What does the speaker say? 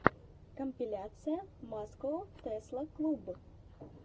компиляция маскоу тесла клуб